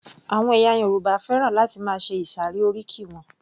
Àwọn ẹ̀yà Yorùbá fẹ́ràn láti máa ṣe ìsàré oríkì wọn